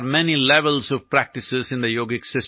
നമ്മുടെ സ്വബോധം എന്നതു ദുർബലമായ ഒരവസ്ഥയാണ്